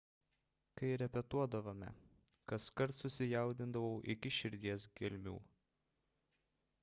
kai repetuodavome kaskart susijaudindavau iki širdies gelmių